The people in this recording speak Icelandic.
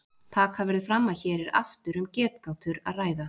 Taka verður fram að hér er aftur um getgátur að ræða.